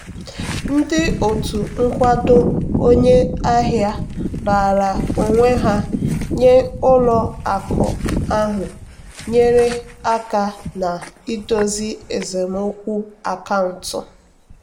ndị otu nkwado onye ahịa raara onwe ha nye ụlọ akụ ahụ nyeere aka na-idozi esemokwu akaụntụ.